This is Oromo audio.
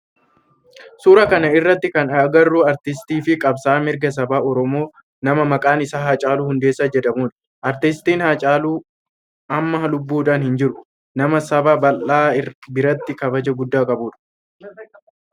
Suuraa kana irratti kan agarru aartistii fi qabsa'aa mirga saba oromoo nama maqaan isaa Haacaaluu Hundeessaa jedhamudha. Aartistii haacaaluu amma lubbuudhan hin jiru. Nama saba bal'aa biratti kabaja guddaa qabudha